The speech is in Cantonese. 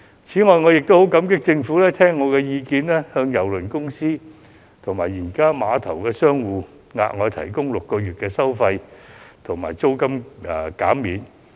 此外，我亦很感激政府聽取我的意見，向郵輪公司及碼頭商戶，額外提供6個月的費用及租金減免。